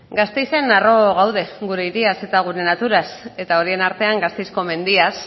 gasteizen harro gaude gure hiriaz eta gure naturaz eta horien artean gasteizko mendiaz